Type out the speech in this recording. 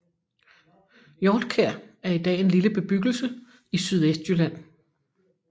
Hjortkjær er i dag en lille bebyggelse i Sydvestjylland